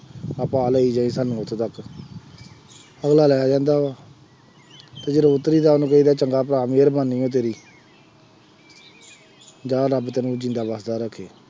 ਆ ਭਾਅ ਲੈ ਜਾਈਂ ਸਾਨੂੰ ਉੱਥੇ ਤੱਕ ਅਗਲਾ ਲੈ ਜਾਂਦਾ ਵਾ ਜਦੋਂ ਉੱਤਰੀਦਾ ਉਹਨੂੰ ਕਹੀ ਦਾ ਚੰਗਾ ਭਰਾ ਮਿਹਰਬਾਨੀ ਹੈ ਤੇਰੀ ਜਾ ਰੱਬ ਕੰਨਿਉ ਜਿਉਂਦਾ ਵੱਸਦਾ ਰਹਿ,